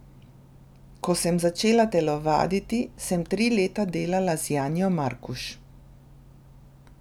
Ko sem začela telovaditi, sem tri leta delala z Janjo Markuš.